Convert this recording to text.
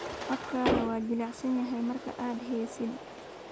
Codkaagu waa jilicsan yahay marka aanad heesin